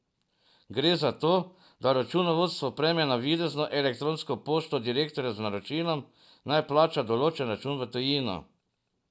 Gre za to, da računovodstvo prejme navidezno elektronsko pošto direktorja z naročilom, naj plača določen račun v tujino.